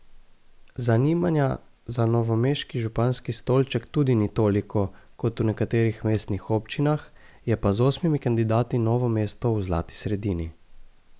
Zanimanja za novomeški županski stolček tudi ni toliko, kot v nekaterih mestnih občinah, je pa z osmimi kandidati Novo mesto v zlati sredini.